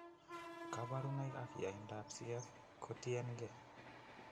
Kaborunoik ak yaindab CF kotiengee